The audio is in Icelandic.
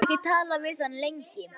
Ég hafði ekki talað við hann lengi.